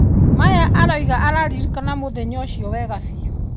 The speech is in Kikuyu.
Maya arauga araririkana mũthenya ũcio wega biũ.